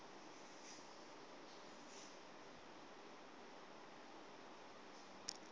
sikakholiwe